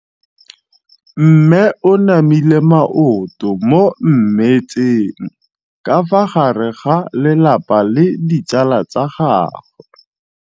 Mme o namile maoto mo mmetseng ka fa gare ga lelapa le ditsala tsa gagwe.